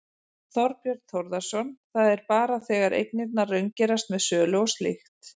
Þorbjörn Þórðarson: Það er bara þegar eignirnar raungerast með sölu og slíkt?